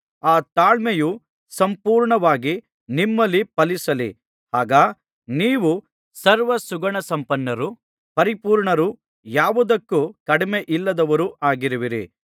ಆ ತಾಳ್ಮೆಯು ಸಂಪೂರ್ಣವಾಗಿ ನಿಮ್ಮಲ್ಲಿ ಫಲಿಸಲಿ ಆಗ ನೀವು ಸರ್ವಸುಗುಣಸಂಪನ್ನರೂ ಪರಿಪೂರ್ಣರೂ ಯಾವುದಕ್ಕೂ ಕಡಿಮೆಯಿಲ್ಲದವರೂ ಆಗುವಿರಿ